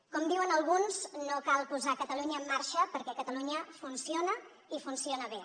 com diuen alguns no cal posar catalunya en marxa perquè catalunya funciona i funciona bé